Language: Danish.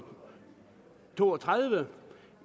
to og tredive